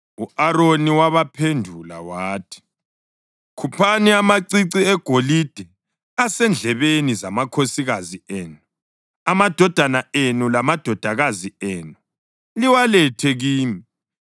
U-Aroni wabaphendula wathi, “Khuphani amacici egolide asendlebeni zamakhosikazi enu, amadodana enu lamadodakazi enu, liwalethe kimi.”